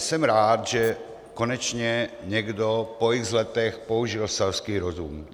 Jsem rád, že konečně někdo po x letech použil selský rozum.